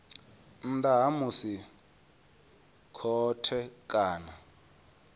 nnḓa ha musi khothe kana